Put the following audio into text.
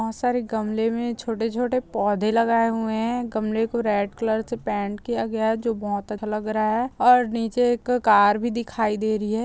बहुत सारे गमले में छोटे-छोटे पौधे लगाए हुए हैं गमले को रेड कलर से पैंट किया गया है जो बहुत अच्छा लग रहा है और नीचे एक कार भी दिखाई दे रही है।